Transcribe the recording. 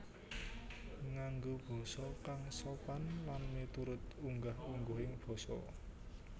Nganggo basa kang sopan lan miturut unggah ungguhing basa